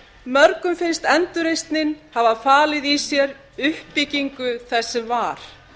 mörg finnst endurreisnin hafa falið í sér uppbyggingu þess sem var